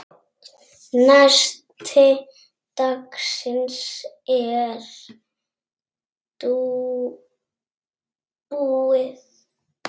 Nesti dagsins er búið.